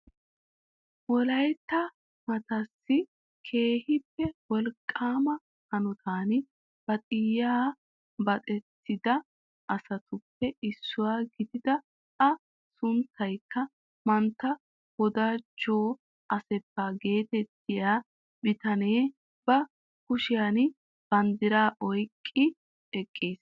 Wolaytta maataassi keehippe wolqqaama hanotan baaxiyaa baaxettida asatuppe issuwaa gidida a sunttaykka mantta wodaajo asefa getettiyaa bitanee ba kushiyaan banddiraa oyqqi eqqiis.